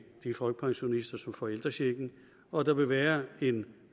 de folkepensionister som får ældrechecken og der vil være en